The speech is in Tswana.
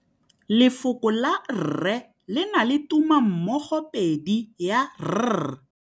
Lefoko la rre le na le tumammogôpedi ya, r.